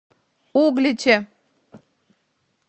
угличе